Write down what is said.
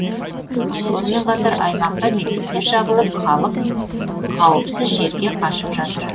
сонымен қатар аймақта мектептер жабылып халық қауіпсіз жерге қашып жатыр